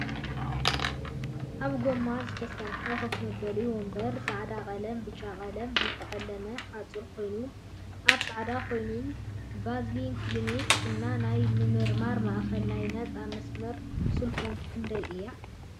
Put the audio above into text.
ካብ ጎማ ዝተሰረሐ ከፍ መበሊ ወንበርን ፃዕዳ ቀለምን ብጫ ቀለምን ዝተቀለመ ሓፁር ኮይኑ ኣብ ፃዕዳ ኮይኑ ቪዝን ክሊኒክ እና ናይ ምርመራ ማእከል ናይ ነፃ መስመር ስልኮም ክንደይ እያ?